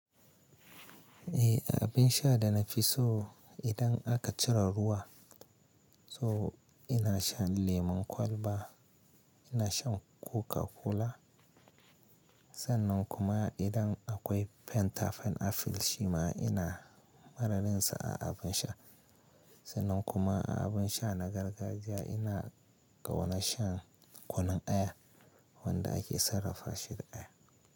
Eh, a abin sha da na fi so idan aka cire ruwa, so ina shan lemon kwalba, ina shan Coca-Cola. Sannan kuma idan akwai Fanta, pineapple shima ina mararinsa a abin sha. Sannan kuma a abin sha na gargajiya ina ƙaunar shan kunun aya wanda ake sarrafa shi da aya.